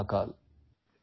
Jai Mahakal